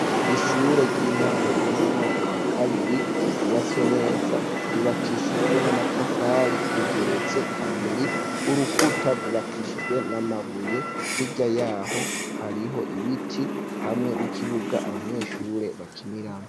Ishure ry'intango ryo mu mwaka wa kabiri ryubatswe neza, ryubakishijwe n'amatafari rigeretse kabiri, urukuta rwubakishijwe n'amabuye, hirya yaho hariho ibiti hamwe n'ikibuga abanyeshure bakiniramwo.